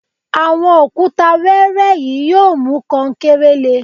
Àwọn òkúta wẹẹrẹ yìí yóò mú kankéré le